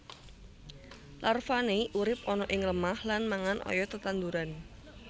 Larvane urip ana ing lemah lan mangan oyot tetanduran